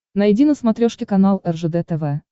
найди на смотрешке канал ржд тв